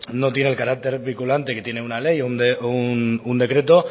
no tiene el carácter vinculante que tiene una ley o un decreto